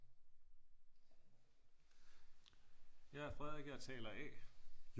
jeg er frederik jeg er taler a